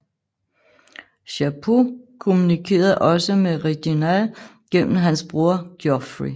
Chapuys kommunikerede også med Reginald gennem hans bror Geoffrey